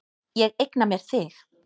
Ég eigna mér þig.